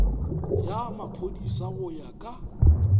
ya maphodisa go ya ka